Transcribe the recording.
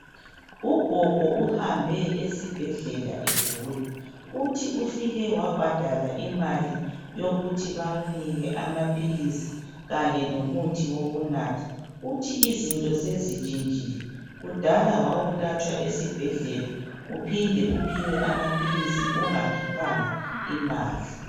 Ugogo uhambe esibhedlela egula. Uthi ufike wabhadala imali yokuthi bamuphe amaphilisi lomuthi wokunatha. Izinto sezintshintshile kudala wawulatshwa esibhedlela uphinde uphiwe amaphilisi ungakhiphanga imali.